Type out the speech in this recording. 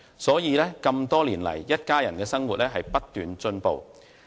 所以，這麼多年來，一家人的生活不斷改善。